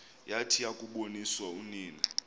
yathi yakuboniswa unina